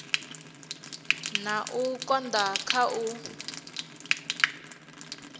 na u konda kha u